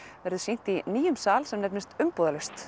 verður sýnt í nýjum sal sem nefnist umbúðalaust